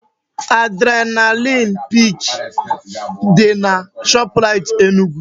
Adrenalin pik dị na Shoprite Enugu